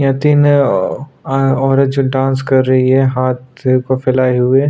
यहाँ तीन औरत जो डांस कर रही हैं हाथ को फैलाये हुए।